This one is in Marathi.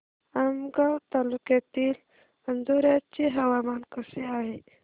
आमगाव तालुक्यातील अंजोर्याचे हवामान कसे आहे